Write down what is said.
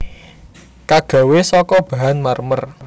Kagawé saka bahan marmer